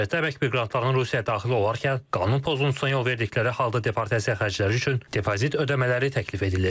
Müraciətdə əmək miqrantlarının Rusiyaya daxil olarkən qanun pozuntusuna yol verdikləri halda deportasiya xərcləri üçün depozit ödəmələri təklif edilir.